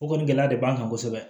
O kɔni gɛlɛya de b'an kan kosɛbɛ